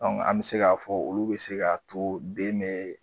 An mi se k'a fɔ olu bɛ se k'a to den me